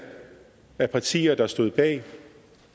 af partier der stod bag